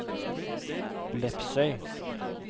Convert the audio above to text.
Lepsøy